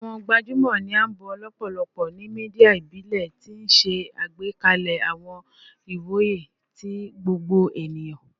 Awọn gbajumọ ni a bo lọpọlọpọ ni media ibile, ti n ṣe agbekalẹ awọn iwoye ti gbogbo eniyan